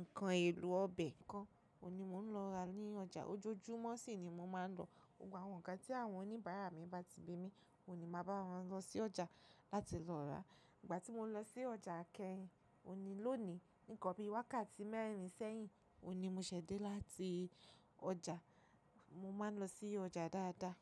nǹkan èlò ọbẹ̀ kan, òní mò ń lọ ra ní ọjà. Ojoojúmọ́ sì ni mo máa ń lọ. Gbogbo àwọn nǹkan tí àwọn oníbàárà mi bá ti bi mí, òní máa bá wọn lọ sí ọjà láti lọ ra. Ìgbà tí mo ń lọ sí ọjà kẹ́yìn, òhun ní lónìí, ní nkan bi wákàtí mẹ́rìn sẹ́yìn, òun ní mo ṣẹ́dé láti ọjà. Mo ma ń lọ sí ọjà dáadáa.